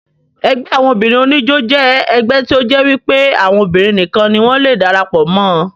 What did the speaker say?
Ẹgbẹ́ àwọn obìnrin oníjó jẹ́ ẹgbẹ́ tí ó jẹ́ wípé àwọn obìnrin nìkan ni wọ́n le darapọ̀ mọ́ ọn